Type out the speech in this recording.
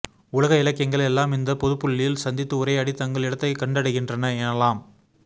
உலக இலக்கியங்கள் எல்லாம் இந்தப் பொதுப்புள்ளியில் சந்தித்து உரையாடி தங்கள் இடத்தைக் கண்டடைகின்றன எனலாம்